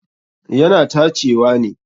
Yana tacewa ne.